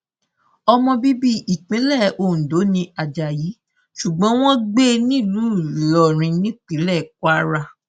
ọmọ bíbí ìpínlẹ ondo ní ajayi ṣugbọn wọn ń gbé nílùú ìlọrin nípínlẹ kwara